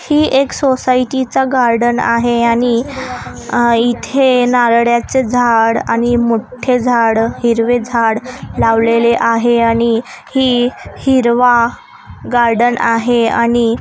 ही एक सोसायटी चा गार्डन आहे आणि अह इथे नारळ्याचे झाड आणि मोठे झाड हिरवे झाड लावलेले आहे आणि ही हिरवा गार्डन आहे आणि --